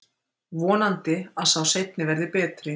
Vonandi að sá seinni verði betri.